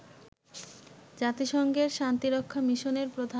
জাতিসংঘের শান্তিরক্ষা মিশনের প্রধান